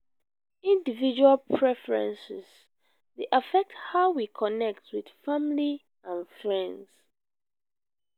individual preferences dey affect how we connect with friends and family.